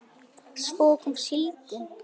Svo kom síldin.